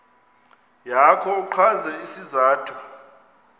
yakho uchaze isizathu